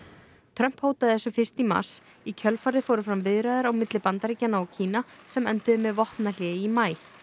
Trump hótaði þessu fyrst í mars í kjölfarið fóru fram viðræður á milli Bandaríkjanna og Kína sem enduðu með vopnahléi í maí